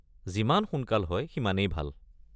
যিমান সোনকাল হয় সিমানেই ভাল।